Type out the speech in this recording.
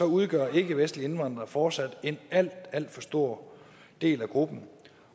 udgør ikkevestlige indvandrere fortsat en alt alt for stor del af gruppen